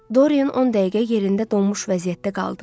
Doryan 10 dəqiqə yerində donmuş vəziyyətdə qaldı.